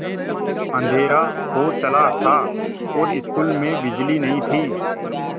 अँधेरा हो चला था और स्कूल में बिजली नहीं थी